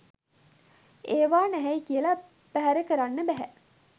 ඒවා නැහැයි කියලා බැහැර කරන්න බැහැ